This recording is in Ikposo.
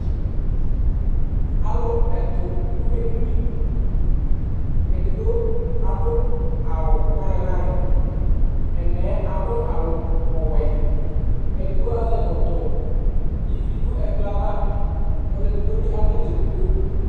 Alʋ ɛtʋ dʋ edini Edigbo adʋ awʋ layɩn layɩn Ɛna yɛ adʋ awʋ ɔwɛ Edigbo azɛ ɛkɔtɔ Ivi dʋ ɛkplɔ yɛ ava Ɔlʋ edigbo bɩ amʋ nʋ edigbo